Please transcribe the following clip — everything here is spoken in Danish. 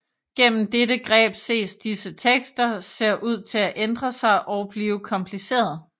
Gennem dette greb ser disse tekster ser ud til at ændre sig og blive komplicerede